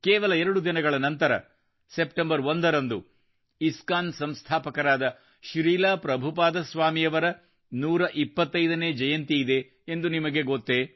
ಕೇವಲ ಎರಡು ದಿನಗಳ ನಂತರ ಸೆಪ್ಟೆಂಬರ್ 1 ರಂದು ಇಸ್ಕಾನ್ ಸಂಸ್ಥಾಪಕರಾದ ಶ್ರೀಲ ಪ್ರಭುಪಾದ ಸ್ವಾಮಿಯವರ 125 ನೇ ಜಯಂತಿಯಿದೆ ಎಂದು ನಿಮಗೆ ಗೊತ್ತೆ